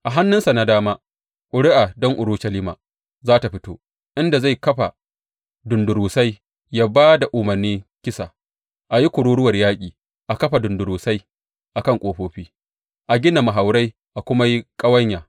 A hannunsa na dama ƙuri’a don Urushalima za tă fito, inda zai kafa dundurusai, ya ba da umarni kisa, a yi kururuwar yaƙi, a kafa dundurusai a kan ƙofofi, a gina mahaurai a kuma yi ƙawanya.